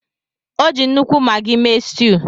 O ji nnukwu Maggi mee stew